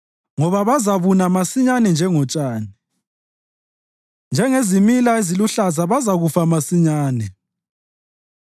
ngoba bazabuna masinyane njengotshani, njengezimila eziluhlaza bazakufa masinyane.